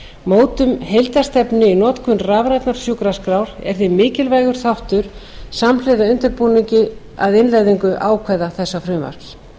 mótun heildarstefnu í notkun rafrænnar sjúkraskrár er því mikilvægur þáttur samhliða undirbúningi að innleiðingu ákvæða þessa frumvarps